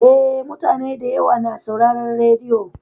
Eh, mutane da yawa na sauraron rediyo.